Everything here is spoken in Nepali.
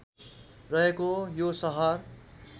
रहेको यो सहर